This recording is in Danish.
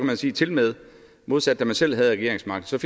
man sige tilmed modsat da man selv havde regeringsmagten